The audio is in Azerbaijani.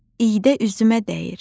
iydə üzümə dəyir.